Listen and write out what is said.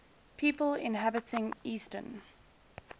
people inhabiting eastern